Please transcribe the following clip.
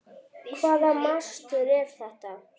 Hvaða mastur er þetta?